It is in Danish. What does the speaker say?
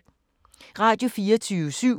Radio24syv